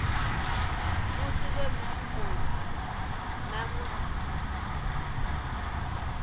musi vhe mushumoni na musi